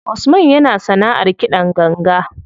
Usman yana sanaʼar kiɗan ganga.